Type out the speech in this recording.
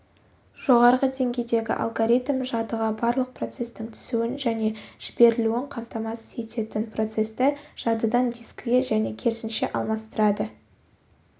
жоғарғы деңгейдегі алгоритм жадыға барлық процестің түсуін және жіберілуін қамтамасыз ететін процесті жадыдан дискіге және керісінше алмастырады